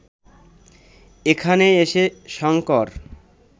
এখানে এসে শঙ্কর